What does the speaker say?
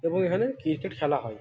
এবং এখানে ক্রিকেট খেলা হয় --